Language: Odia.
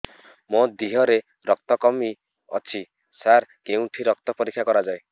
ମୋ ଦିହରେ ରକ୍ତ କମି ଅଛି ସାର କେଉଁଠି ରକ୍ତ ପରୀକ୍ଷା କରାଯାଏ